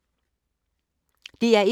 DR1